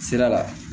Sira la